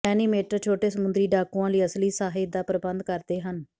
animator ਛੋਟੇ ਸਮੁੰਦਰੀ ਡਾਕੂਆਂ ਲਈ ਅਸਲੀ ਸਾਹਿੱਤ ਦਾ ਪ੍ਰਬੰਧ ਕਰਦੇ ਹਨ